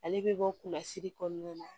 Ale bɛ bɔ kɔnɔna na